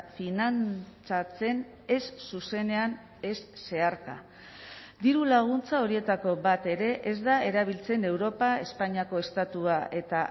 finantzatzen ez zuzenean ez zeharka dirulaguntza horietako bat ere ez da erabiltzen europa espainiako estatua eta